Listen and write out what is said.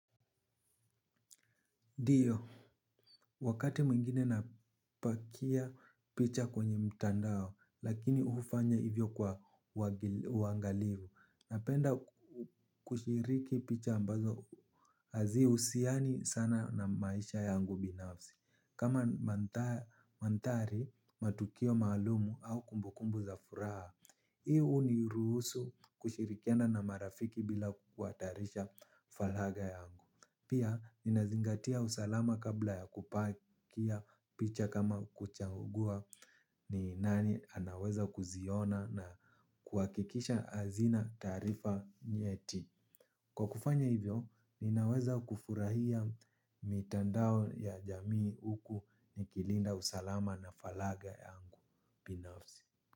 Ndiyo, wakati mwingine napakia picha kwenye mtandao, lakini hufanya hivyo kwa uangalifu, napenda kushiriki picha ambazo hazi husiani sana na maisha yangu binafsi. Kama mandhari matukio maalumu au kumbukumbu za furaha, hii huniruhusu kushirikiana na marafiki bila kuhatarisha faragha yangu. Pia, ninazingatia usalama kabla ya kupakia picha kama kuchangua ni nani anaweza kuziona na kuhakikisha hazina taarifa nyeti. Kwa kufanya hivyo, ninaweza kufurahia mitandao ya jamii huku ni kilinda usalama na faragha yangu. Binafsi.